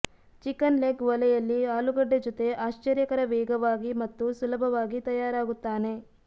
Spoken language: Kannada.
ಚಿಕನ್ ಲೆಗ್ ಒಲೆಯಲ್ಲಿ ಆಲೂಗಡ್ಡೆ ಜೊತೆ ಆಶ್ಚರ್ಯಕರ ವೇಗವಾಗಿ ಮತ್ತು ಸುಲಭವಾಗಿ ತಯಾರಾಗುತ್ತಾನೆ